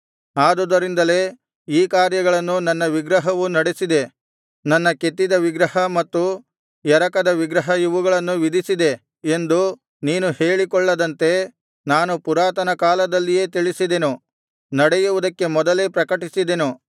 ಆದುದರಿಂದಲೇ ಈ ಕಾರ್ಯಗಳನ್ನು ನನ್ನ ವಿಗ್ರಹವು ನಡೆಸಿದೆ ನನ್ನ ಕೆತ್ತಿದ ವಿಗ್ರಹ ಮತ್ತು ಎರಕದ ವಿಗ್ರಹ ಇವುಗಳನ್ನು ವಿಧಿಸಿದೆ ಎಂದು ನೀನು ಹೇಳಿಕೊಳ್ಳದಂತೆ ನಾನು ಪುರಾತನಕಾಲದಲ್ಲಿಯೇ ತಿಳಿಸಿದೆನು ನಡೆಯುವುದಕ್ಕೆ ಮೊದಲೇ ಪ್ರಕಟಿಸಿದೆನು